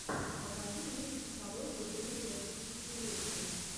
покажи мне психологию третьего тысячелетия